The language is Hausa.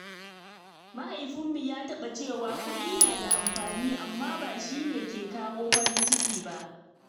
Mahaifinmu ya taɓa cewa kuɗi na da amfani, amma ba shi ne ke kawo farin ciki ba.